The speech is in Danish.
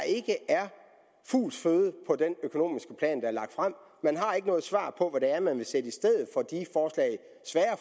ikke er fugls føde på den økonomiske plan der er lagt frem man har ikke noget svar på hvad det er man vil sætte i stedet